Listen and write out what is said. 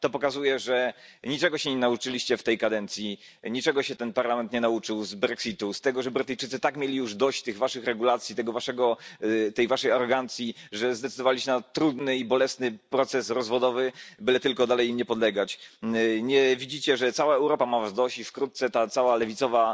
To pokazuje, że niczego się nie nauczyliście w tej kadencji, niczego się ten parlament nie nauczył z brexitu, z tego, że Brytyjczycy tak już mieli dość tych waszych regulacji, tej waszej arogancji, że zdecydowali się na trudny i bolesny proces rozwodowy, byle tylko dalej im nie podlegać. Nie widzicie, że cała Europa ma was dość i wkrótce ta cała lewicowa